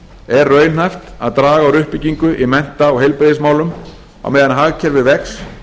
er raunhæft að draga úr uppbyggingu í mennta og heilbrigðismálum á meðan hagkerfið vex